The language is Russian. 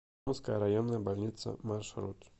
томская районная больница маршрут